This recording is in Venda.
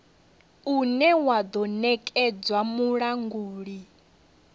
une wa do nekedzwa mulanguli